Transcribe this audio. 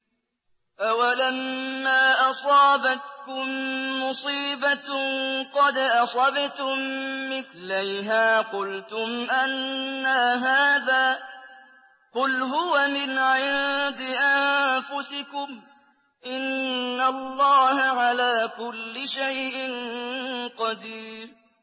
أَوَلَمَّا أَصَابَتْكُم مُّصِيبَةٌ قَدْ أَصَبْتُم مِّثْلَيْهَا قُلْتُمْ أَنَّىٰ هَٰذَا ۖ قُلْ هُوَ مِنْ عِندِ أَنفُسِكُمْ ۗ إِنَّ اللَّهَ عَلَىٰ كُلِّ شَيْءٍ قَدِيرٌ